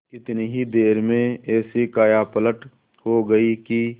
इतनी ही देर में ऐसी कायापलट हो गयी कि